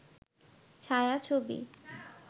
ছায়া-ছবি